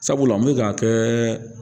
Sabula n bɛ k'a kɛ